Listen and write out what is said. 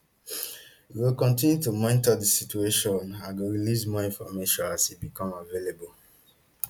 we go kontinu to monitor di situation and go release more information as e become available